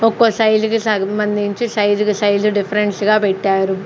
ఒక్కో సైజుకి సగం బంధించి సైజుకు సైజు డిఫరెన్స్గా పెట్టారు.